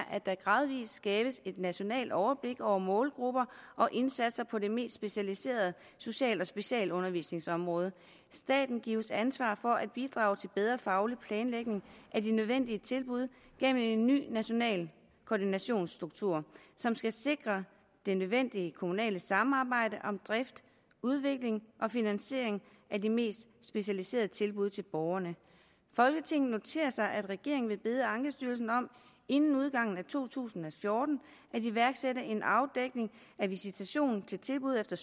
at der gradvis skabes et nationalt overblik over målgrupper og indsatser på det mest specialiserede social og specialundervisningsområde staten gives ansvar for at bidrage til bedre faglig planlægning af de nødvendige tilbud gennem en ny national koordinationsstruktur som skal sikre det nødvendige kommunale samarbejde om drift udvikling og finansiering af de mest specialiserede tilbud til borgerne folketinget noterer sig at regeringen vil bede ankestyrelsen om inden udgangen af to tusind og fjorten at iværksætte en afdækning af visitation til tilbud efter